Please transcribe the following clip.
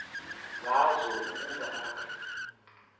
ngazo ukuba akhe